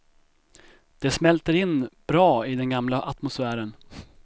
Det smälter in bra i den gamla atmosfären.